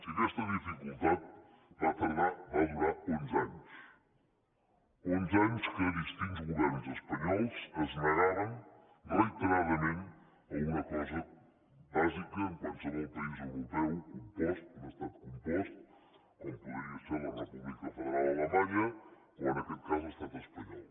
i aquesta dificultat va durar onze anys onze anys en què distints governs espanyols es negaven reiteradament a una cosa bàsica en qualsevol país europeu compost un estat compost com podria ser la república federal alemanya o en aquest cas l’estat espanyol